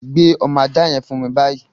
Gbé ọmọ aja yẹn fún mi báyìí!